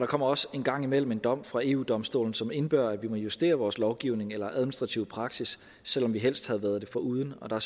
kommer også en gang imellem en dom fra eu domstolen som indebærer at vi må justere vores lovgivning eller administrative praksis selv om vi helst havde været det foruden og